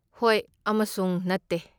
ꯍꯣꯏ ꯑꯃꯁꯨꯡ ꯅꯠꯇꯦ!